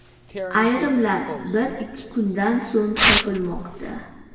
Ayrimlar bir-ikki kundan so‘ng topilmoqda.